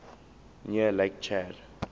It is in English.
near lake chad